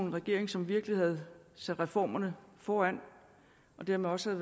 en regering som virkelig havde sat reformerne foran og dermed også